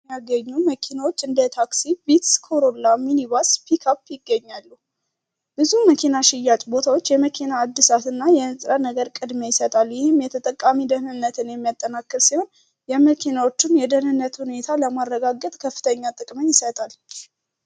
የሚገኙ መኪናዎች እንደታክሲ ቪትዝ፣ ኮሮላ፣ ሚኒባስ፣ ፒካፕ ይገኛሉ። ብዙም መኪና ሽያጭ ቦታዎች የመኪና አድሳት እና የንጽረ ነገር ቀድሚያ ይሰጣሉ። ይህም የተጠቃሚ ደህንነትን የሚያጠናክር ሲሆን፤ የመኪናዎቹን የደህንነት ሁኔታ ለማረጋገት ከፍተኛ ጠቅምን ይሰጣል።